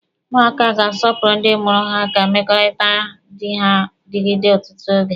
Ụmụaka ga-asọpụrụ ndị mụrụ ha ka mmekọrịta dị ha digide ọtụtụ oge.